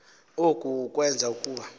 oku kwenza ukuba